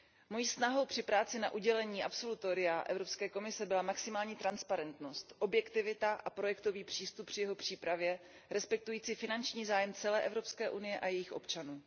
Mojí snahou při práci na udělení absolutoria Evropské komise byla maximální transparentnost, objektivita a projektový přístup při jeho přípravě respektující finanční zájem celé Evropské unie a jejích občanů.